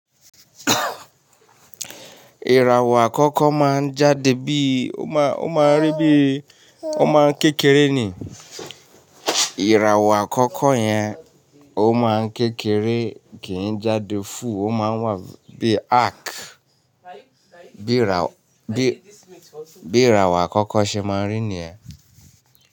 Iràwọ àkọkọ màà n jàdè bi ò màà ò màà n ri bi ò màà kèkèrè nii. Ìràwọ̀ àkọ́kọ́ yẹn ó máa ń kékeré kì í jáde fú, ó máa ń wà bí i arc. Bí ìràwọ̀, bí ìràwọ̀ àkọ́kọ́ ṣe máa ń rí ni yèn.